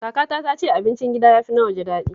Kakata tana cewa abincin gida ya fi na waje daɗi